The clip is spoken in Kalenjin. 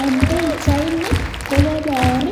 En pichaini kokobor